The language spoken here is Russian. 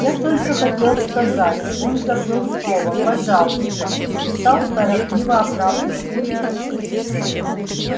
я только хотел сказать он забыл слово пожалуйста стал торопливо оправдываться гарри